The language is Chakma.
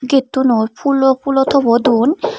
gate tunot phoolo phoolo top o don.